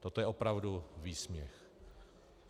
Toto je opravdu výsměch.